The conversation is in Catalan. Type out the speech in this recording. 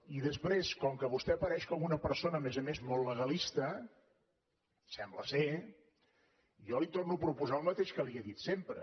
i després com que vostè apareix com una persona a més a més molt legalista sembla jo li torno a proposar el mateix que li he dit sempre